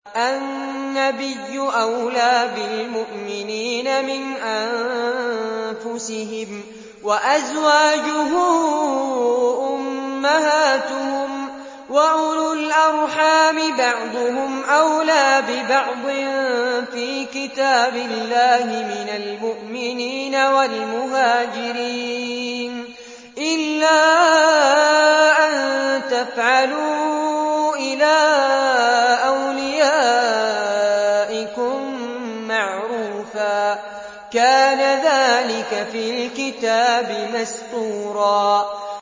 النَّبِيُّ أَوْلَىٰ بِالْمُؤْمِنِينَ مِنْ أَنفُسِهِمْ ۖ وَأَزْوَاجُهُ أُمَّهَاتُهُمْ ۗ وَأُولُو الْأَرْحَامِ بَعْضُهُمْ أَوْلَىٰ بِبَعْضٍ فِي كِتَابِ اللَّهِ مِنَ الْمُؤْمِنِينَ وَالْمُهَاجِرِينَ إِلَّا أَن تَفْعَلُوا إِلَىٰ أَوْلِيَائِكُم مَّعْرُوفًا ۚ كَانَ ذَٰلِكَ فِي الْكِتَابِ مَسْطُورًا